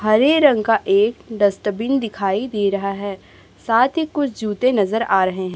हरे रंग का एक डस्टबिन दिखाई दे रहा है साथ ही कुछ जूते नजर आ रहे हैं।